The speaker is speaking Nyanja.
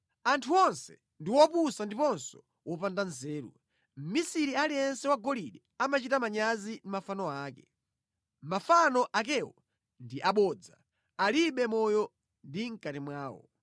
Anthu onse ndi opusa ndiponso opanda nzeru; mmisiri aliyense wosula golide akuchita manyazi ndi mafano ake. Mafano akewo ndi abodza; alibe moyo mʼkati mwawo.